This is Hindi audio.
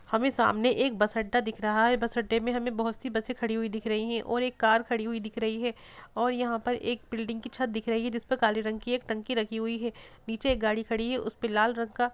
हमे सामने एक बस अड्डा दिख रहा है। बस अड्डे में हमे बहोत सी बसे खड़ी हुई दिख रही हैं और एक कार खड़ी हुई दिख रही है और यहाँ पर एक बिल्डिंग की छत्त दिख रही है। जिसपे काले रंग की एक टंकी रखी हुई है। नीचे एक गाड़ी खड़ी है उसपे लाल रंग का --